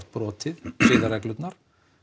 brotið siðareglurnar